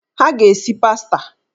Ha ga-esi pasta.